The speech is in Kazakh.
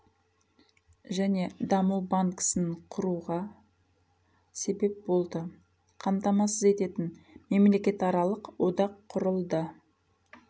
және даму банкісін құруға себеп болды қамтамасыз ететін мемлекетаралық одақ құрылды